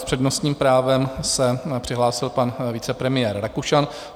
S přednostním právem se přihlásil pan vicepremiér Rakušan.